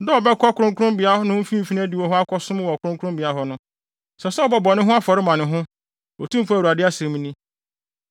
Da a ɔbɛkɔ kronkronbea no mfimfini adiwo hɔ akɔsom wɔ kronkronbea hɔ no, ɛsɛ sɛ ɔbɔ bɔne afɔre ma ne ho, Otumfo Awurade asɛm ni.